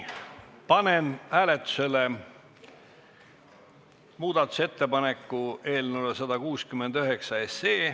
Panen hääletusele muudatusettepaneku eelnõu 169 kohta.